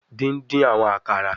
Din-din awọn akara